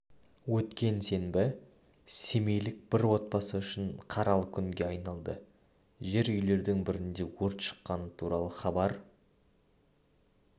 өткен сенбі семейлік бір отбасы үшін қаралы күнге айналды жер үйлердің бірінде өрт шыққаны туралы хабар